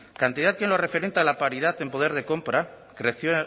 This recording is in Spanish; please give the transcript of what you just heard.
cantidad que en lo referente a la paridad en poder de compra creció